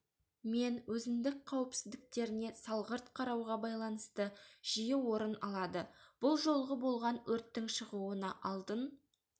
мен өзіндік қауіпсіздіктеріне салғырт қарауға байланысты жиі орын алады бұл жолғы болған өрттің шығуына алдын